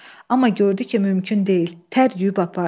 Amma gördü ki, mümkün deyil, tər yuyub aparır.